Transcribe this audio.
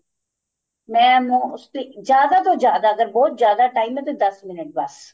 ਮੈਂ ਉਹਨੂੰ ਜਿਆਦਾ ਤੋਂ ਜਿਆਦਾ ਅਗਰ ਬਹੁਤ ਜਿਆਦਾ time ਏ ਤੇ ਦੱਸ minute ਬੱਸ